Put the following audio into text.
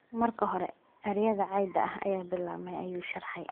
"Marka hore, ereyada cayda ah ayaa bilaabmay," ayuu sharaxay.